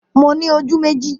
Mo ní ojú méjì